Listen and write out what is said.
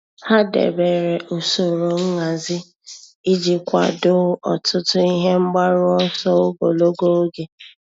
Há dèbèrè usoro nhazi iji kwàdòọ́ ọtụ́tụ́ ihe mgbaru ọsọ ogologo oge.